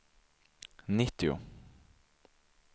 nittio